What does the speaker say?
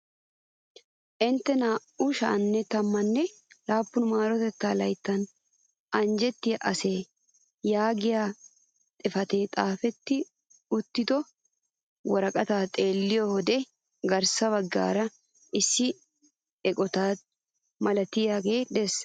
"Intte naa"u sha'anne tammanne laappun marotettaa layttan anjjettiyaa asee?" yaagiyaa xifatee xaafettidi uttido woraqataaxeelliyoo wode garssa baggaara issi eqotaaodiyaa malaatay de'ees.